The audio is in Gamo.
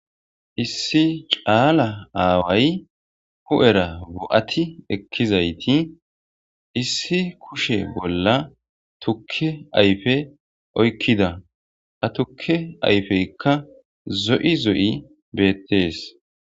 Issi caala aaway hu'era bo'ati ekkizayti issi kushe bolla tukke ayfe oykkida ha tukke ayfeykka zo'i zo'i beettees.